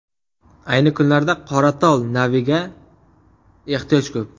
Ayni kunlarda ‘Qoratol’ naviga ehtiyoj ko‘p.